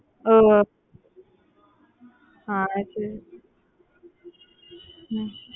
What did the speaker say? ஒஹ் அஹ் சரி சரி உம்